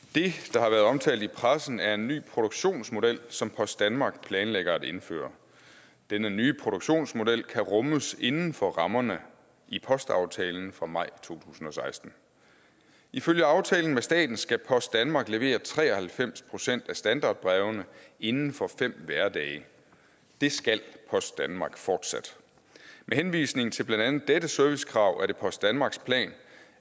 der har været omtalt i pressen er en ny produktionsmodel som post danmark planlægger at indføre denne nye produktionsmodel kan rummes inden for rammerne i postaftalen fra maj to tusind og seksten ifølge aftalen med staten skal post danmark levere tre og halvfems procent af standardbrevene inden for fem hverdage det skal post danmark fortsat med henvisning til blandt andet dette servicekrav er det post danmarks plan